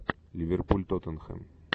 ливерпуль тоттенхэм